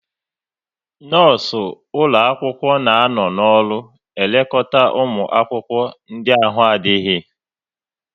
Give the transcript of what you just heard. Nọọsụ ụlọ akwụkwọ na anọ n'ọrụ elekọta ụmụ akwụkwọ ndị ahụ na-adịghị